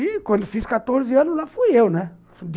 E quando eu fiz quatorze anos, lá fui eu, né?